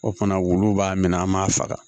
O fana wulu b'a minɛ an b'a faga